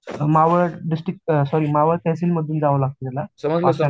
Maval district sorry Maval tehsil मधून जावं लागत त्याला